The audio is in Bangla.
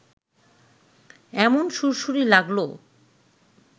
এমন সুড়সুড়ি লাগল